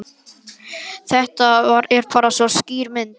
Þetta er bara svo skýr mynd.